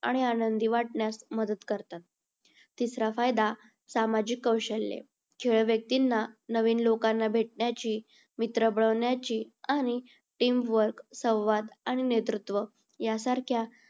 आणि आनंदी वाटण्यास मदत करतात. तिसरा फायदा सामाजिक कौशल्य. खेळ व्यक्तींना नवीन लोकांना भेटण्याची मित्र बनवण्याची आणि team work संवाद आणि नेतृत्व यासारख्या